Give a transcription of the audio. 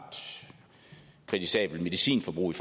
kritisabelt medicinforbrug i